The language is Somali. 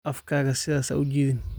Afkaaga sidaas ha u jiidin